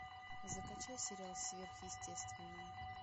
закачай сериал сверхъестественное